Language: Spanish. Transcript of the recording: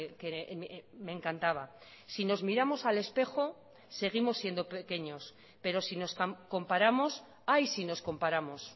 que me encantaba sí nos miramos al espejo seguimos siendo pequeños pero sí nos comparamos ay si nos comparamos